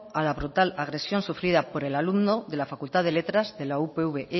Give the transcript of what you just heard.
a la brutal agresión sufrida por el alumno de la facultad de letras de la upv